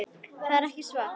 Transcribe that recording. það er ekki var